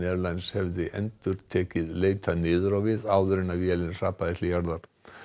Airlines hefði endurtekið leitað niður á við áður en vélin hrapaði til jarðar